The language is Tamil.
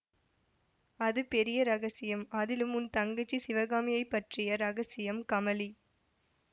அது பெரிய இரகசியம் அதிலும் உன் தங்கச்சி சிவகாமியைப் பற்றிய இரகசியம் கமலி